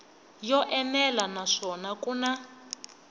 yo enela naswona ku na